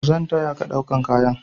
Zan taya ka ɗaukan kayan.